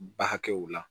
Ba hakɛw la